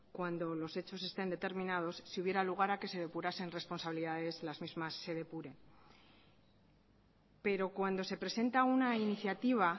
cuando los hechos estén determinados si hubiera lugar a que se depurasen responsabilidades las mismas se depuren pero cuando se presenta una iniciativa